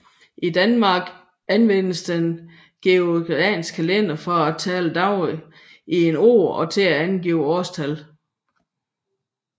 I Danmark anvendes den gregorianske kalender til at tælle dagene i et år og til at angive årstal